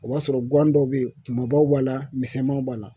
O b'a sɔrɔ gan dɔw bɛ yen kunbabaw b'a la misɛnmanw b'a la